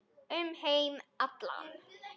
Um heim allan.